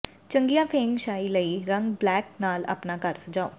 ਚੰਗੀਆਂ feng shui ਲਈ ਰੰਗ ਬਲੈਕ ਨਾਲ ਆਪਣਾ ਘਰ ਸਜਾਓ